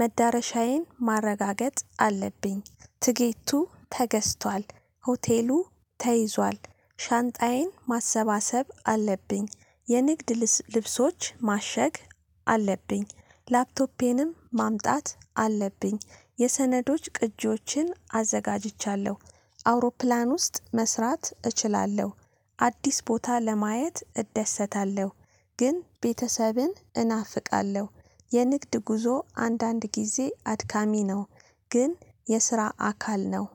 መዳረሻዬን ማረጋገጥ አለብኝ። ትኬቱ ተገዝቷል ሆቴሉ ተይዟል። ሻንጣዬን ማሰባሰብ አለብኝ የንግድ ልብሶች ማሸግ። አለብኝ ላፕቶፔንም ማምጣት አለብኝ የሰነዶች ቅጂዎችን አዘጋጅቻለሁ። አውሮፕላን ውስጥ መስራት እችላለሁ። አዲስ ቦታ ለማየት እደሰታለሁ። ግን ቤተሰብን እናፍቃለሁ። የንግድ ጉዞ አንዳንድ ጊዜ አድካሚ ነው። ግን የስራ አካል ነው።